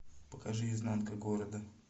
покажи изнанка города